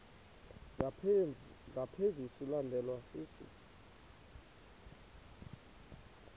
ngaphezu silandelwa sisi